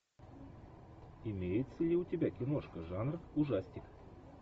имеется ли у тебя киношка жанр ужастик